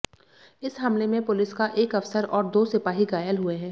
इस हमले में पुलिस का एक अफसर और दो सिपाही घायल हुए हैं